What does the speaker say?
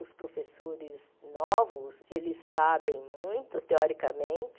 Os professores novos eles sabem muito, teoricamente,